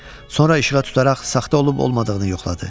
Sonra işığa tutaraq saxta olub-olmadığını yoxladı.